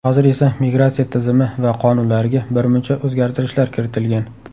Hozir esa migratsiya tizimi va qonunlariga birmuncha o‘zgartirishlar kiritilgan.